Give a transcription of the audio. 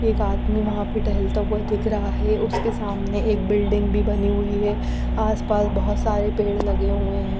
एक आदमी वहाँ पे टहलता हुआ दिख रहा है उसके सामने एक बिल्डिंग भी बनी हुई है आस पास बहुत सारे पेड़ लगे हुए है।